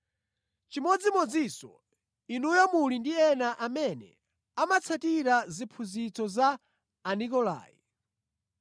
Chimodzimodzinso inuyo muli ndi ena amene amatsatira ziphunzitso za Anikolai.